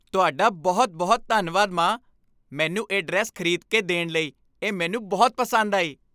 ਤੁਹਾਡਾ ਬਹੁਤ ਬਹੁਤ ਧੰਨਵਾਦ, ਮਾਂ! ਮੈਨੂੰ ਇਹ ਡਰੈੱਸ ਖ਼ਰੀਦ ਕੇ ਦੇਣ ਲਈ, ਇਹ ਮੈਨੂੰ ਬਹੁਤ ਪਸੰਦ ਆਈ